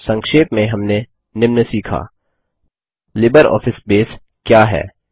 संक्षेप में हमने निम्न सीखाः लिबरऑफिस बेस क्या है